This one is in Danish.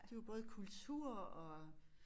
Det jo både kultur og